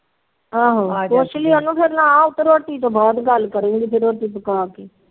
ਆਹੋ ਪੁਛ ਲੀ ਉਹਨੂੰ ਫਿਰ ਨਾ ਰੋਟੀ ਤੋ ਬਾਅਦ ਗੱਲ ਕਰੂਗੀ ਰੋਟੀ ਪਕਾ ਕੇ